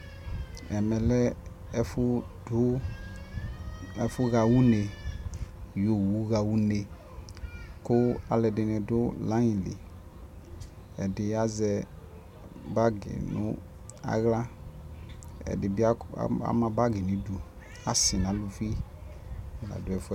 ɛmɛ lɛ ɛƒʋ dʋ, ɛƒʋ ha ʋnɛ yɔ ɔwʋ ha unɛ kʋ alʋɛdini dʋ line li, ɛdi azɛ bagi nʋ ala ɛdi bi ama bagi nʋ idʋ, asii nʋ alʋvi la dʋ ɛƒʋɛ